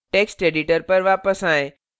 text editor पर वापस आएँ